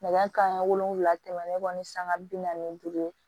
Nɛgɛ kanɲɛ wolonwula tɛmɛnen kɔ ni sanga bi naani duuru ye